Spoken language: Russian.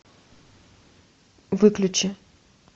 выключи